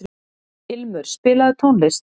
Ilmur, spilaðu tónlist.